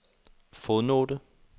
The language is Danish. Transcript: fodnote